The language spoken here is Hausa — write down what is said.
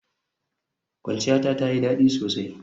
Kwanciyata tayi dadi sosai.